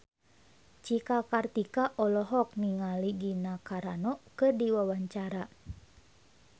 Cika Kartika olohok ningali Gina Carano keur diwawancara